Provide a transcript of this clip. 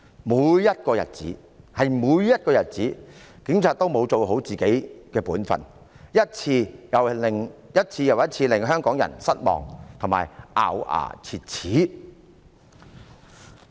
每一個日子，警察都沒有做好本分，一次又一次令香港人失望和咬牙切齒。